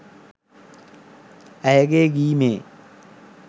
ඇයගේ ගී මේ